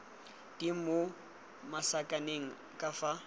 di mo masakaneng ka fa